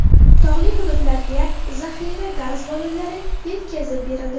Tog‘li hududlarga zaxira gaz ballonlari yetkazib berildi.